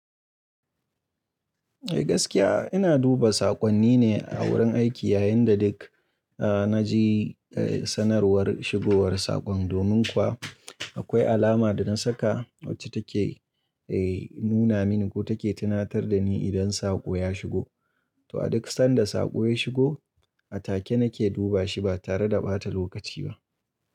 Eh gaskiya ina duba saƙonni ne a wurin aiki yayin da duk a na ji a sanarwar shigowar saƙon. Domin kuwa akwai alama da na saka wacce take eh nuna mini ko take tunatar da ni idan saƙo ya shigo. To a duk sanda saƙo ya shigo, a take nake duba shi ba tare da ɓata lokaci ba.